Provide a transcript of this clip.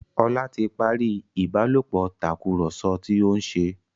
Ola tí parí ìbálòpọ̀ Tàkùrọ̀sọ tíó nṣe.